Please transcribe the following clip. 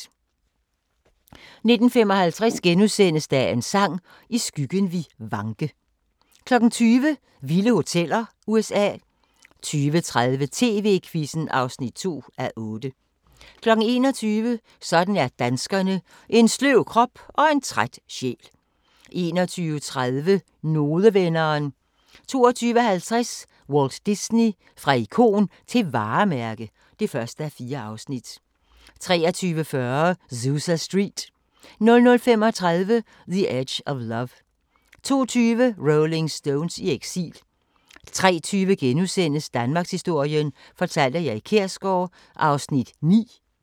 19:55: Dagens Sang: I skyggen vi vanke * 20:00: Vilde hoteller: USA 20:30: TV-Quizzen (2:8) 21:00: Sådan er danskerne: En sløv krop og en træt sjæl 21:30: Nodevenderen 22:50: Walt Disney – fra ikon til varemærke (1:4) 23:40: Zusa Street 00:35: The Edge of Love 02:20: Rolling Stones i eksil 03:20: Danmarkshistorien fortalt af Erik Kjersgaard (9:12)*